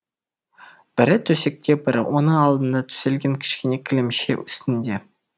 бірі төсекте бірі оның алдына төселген кішкене кілемше үстінде